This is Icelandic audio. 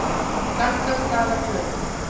Gaddstaðaflötum